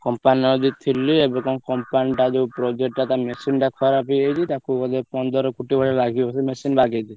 Company ର ଯୋଉ ଥିଲି ଏବେ କଣ company ଟା ଯୋଉ project ଟା ତା machine ଟା ଖରାପ ହେଇଯାଇଛି ତାକୁ ବୋଧେ ପନ୍ଦର କୋଟି ଭଳି ଲାଗିବ ବୋଧେ machine ବାଗେଇଲେ।